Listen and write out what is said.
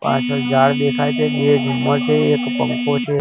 પાછડ ઝાડ દેખાય છે બે ઝુમ્મર છે એક પંખો છે.